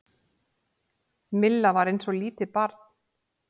Milla var eins og lítið barn.